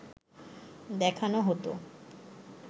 দেখানো হতো